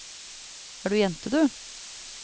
Er du jente, du?